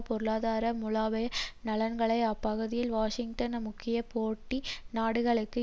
பொருளாதார மூலோபாய நலன்களை அப்பகுதியில் வாஷிங்டனின் முக்கிய போட்டி நாடுகளுக்கு